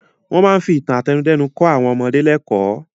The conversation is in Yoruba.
Wọ́n máa ń fi ìtàn àtẹnudẹ́nu kọ́ àwọn ọmọdé lẹ́kọ̀ọ́.